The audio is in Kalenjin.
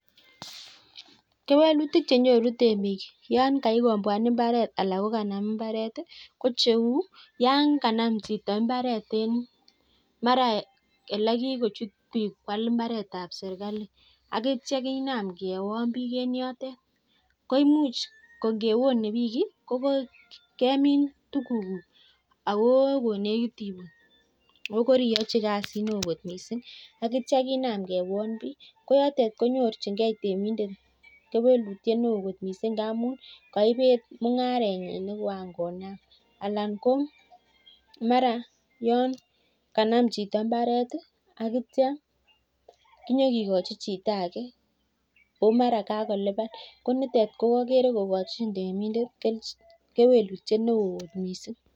Kewelutik che nyoru temik yan kasikombwan imparet ala tan janam imparet ko cheu yan kanam chito en mara olekikochut biik kwal imparetab chito akityo kinam kewon biik en yotet ko imuch infewone biik is ko kemin tuguk guj ko konej oo koriyochi kasit newoo kot missing akityo kinam kewon biik ko yotet ko nuorchinkei temindet kewelutik ngamun kaibet mungarenyin en olekoan konam alan koo nata yon kanam chito imparet akityo konyokikochi chito ake komara kakoliban ko oker kokochin temindet kewelutyet neo missing.